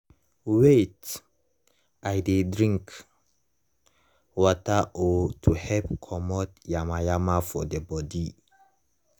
wait - i dey drink water oh to help comot yamayama for the body.